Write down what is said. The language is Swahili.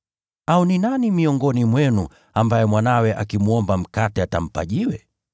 “Au ni nani miongoni mwenu ambaye mwanawe akimwomba mkate atampa jiwe?